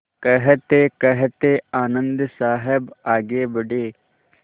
कहतेकहते आनन्द साहब आगे बढ़े